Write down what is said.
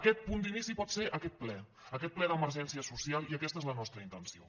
aquest punt d’inici pot ser aquest ple aquest ple d’emergència social i aquesta és la nostra intenció